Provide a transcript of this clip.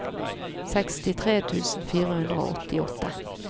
sekstitre tusen fire hundre og åttiåtte